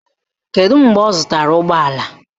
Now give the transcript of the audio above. Kedụ mgbe ọ zụtara ụgbọala?